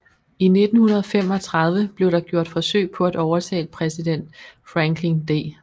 I 1935 blev der gjort forsøg på at overtale præsident Franklin D